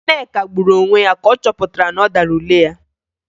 Nneka gburu onwe ya ka ọ chọpụtara na ọ dara ule ya